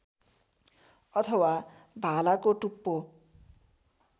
अथवा भालाको टुप्पो